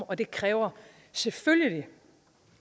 og det kræver selvfølgelig